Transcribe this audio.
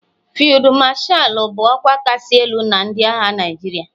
Fiidu Mashalu bụ ọkwa kachasị elu na ndị agha Naijiria.